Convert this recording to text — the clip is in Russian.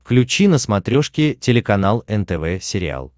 включи на смотрешке телеканал нтв сериал